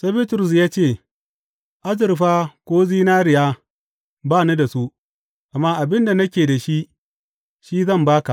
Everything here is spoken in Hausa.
Sai Bitrus ya ce, Azurfa ko zinariya ba ni da su, amma abin da nake da shi, shi zan ba ka.